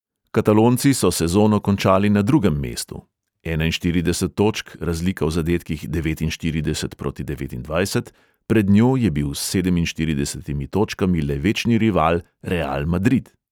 Katalonci so sezono končali na drugem mestu (enainštirideset točk, razlika v zadetkih devetinštirideset proti devetindvajset, pred njo je bil s sedeminštirideset točkami le večni rival real madrid).